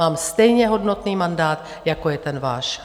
Mám stejně hodnotný mandát, jako je ten váš.